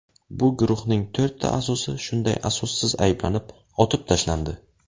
Bu guruhning to‘rtta a’zosi shunday asossiz ayblanib, otib tashlandi.